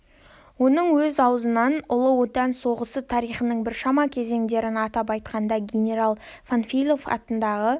оның өз аузынан ұлы отан соғысы тарихының біршама кезеңдерін атап айтқанда генерал панфилов атындағы